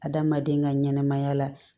Adamaden ka ɲɛnɛmaya la